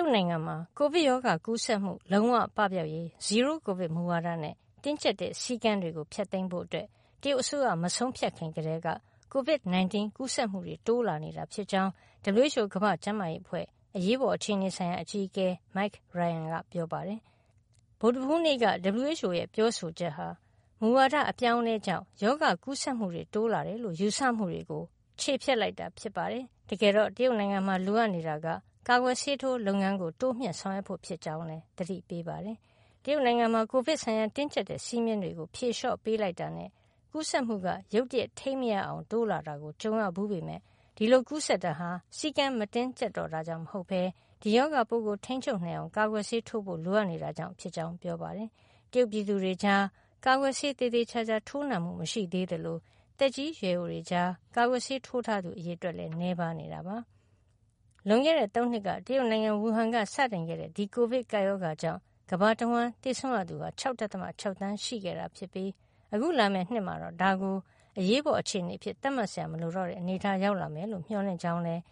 ုတ်နိုင်ငံမှာ ကိုဗစ်ရောဂါ ကူးစက်မှု လုံးဝပပျောက်ရေး "zero-COVID" မူဝါဒနဲ့ တင်းကျပ်တဲ့ စည်းကမ်းတွေကို ဖျက်သိမ်းဖို့ တရုတ်အစိုးရ မဆုံးဖြတ်ခင်ကတည်းက ကိုဗစ် ၁၉ ကူးစက်မှုတွေ တိုးလာနေတာဖြစ်ကြောင်း WHO ကမ္ဘာ့ကျန်းမာရေးအဖွဲ့ အရေးပေါ်အခြေနေဆိုင်ရာ အကြီးအကဲ Mike Ryan ကပြောလိုက်ပါတယ်။ ဗုဒ္ဓဟူးနေ့က WHO ရဲ့ ပြောဆိုချက်က မူဝါဒအပြောင်းအလဲကြောင့် ရောဂါကူးစက်မှုတွေ တိုးလာတယ်လို့ ယူဆမှုတွေကို ချေဖျက်လိုက်တာပါ။ တကယ်တော့ တရုတ်နိုင်ငံမှာ လိုအပ်နေတာက ကာကွယ်ဆေးထိုးလုပ်ငန်းကို တိုးမြှုှင့်ဆောင်ရွက်ဖို့ဖြစ်ကြောင်းလည်း သတိပေးပါတယ်။ တရုတ်နိုင်ငံမှာ ကိုဗစ်ဆိုင်ရာ တင်းကြပ်တဲ့စည်းမျဉ်းတွေကို ဖြေလျှော့ပေးလိုက်တာနဲ့ ကူးစက်မှုက ရုတ်တရက် ထိန်းမရအောင် တိုးလာကို ကြုံရဘူးပေမယ့် ဒီလိုကူးစက်တာဟာ စည်းကမ်း မတင်းကြပ်တော့ တာကြောင့် မဟုတ်ပဲ ဒီရောဂါပိုးကို ထိန်းချုပ်နိုင်အောင် ကာကွယ်ဆေးထိုးဖို့ လိုအပ်နေတာကြောင့် ဖြစ်ကြောင်း ပြောပါတယ်။ တရုတ်ပြည်သူတွေကြား ကာကွယ်ဆေးသေသေချာချာ ထိုးနံှမှု မရှိသေးသလို သက်ကြီးရွယ်အိုတွေကြား ကာကွယ်ဆေး ထိုးထားသူ အရေအတွက်လည်း နည်းပါးနေတာပါ။ လွန်ခဲ့တဲ့ ၃ နှစ်က တရုတ်နိုင်ငံ ဝူဟန်က စတင်ခဲ့တဲ့ ဒီကိုဗစ်ကပ်ရောဂါကြောင့် ကမ္ဘာတဝှမ်း သေဆုံးရသူ ၆.၆ သန်းရှိခဲ့တာ ဖြစ်ပြီး အခုလာမယ့် နှစ်မှာတော့ ဒါကို ကမ္ဘာ့အရေးပေါ်အခြေနေ အဖြစ်သတ်မှတ်စရာ မလိုတော့တဲ့ အနေထားရောက်လာမယ်လို့ မျှော်လင့်ကြောင်းလည်း